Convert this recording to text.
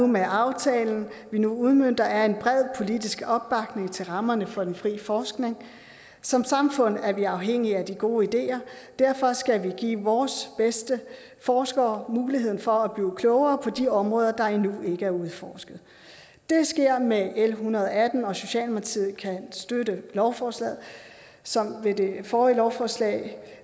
med aftalen vi nu udmønter er en bred politisk opbakning til rammerne for den frie forskning som samfund er vi afhængige af de gode ideer og derfor skal vi give vores bedste forskere muligheden for at blive klogere på de områder der endnu ikke er udforsket det sker med l en hundrede og atten og socialdemokratiet kan støtte lovforslaget som ved det forrige lovforslag